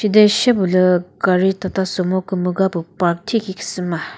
chede she püh lü gari tata sumo thikhi park khasü ma.